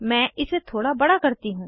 मैं इसे थोड़ा बड़ा करती हूँ